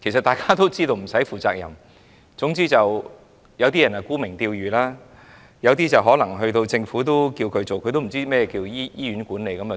大家都知道不需要負責任，有些人沽名釣譽，有些人獲政府委任卻對醫院管理一曉不通。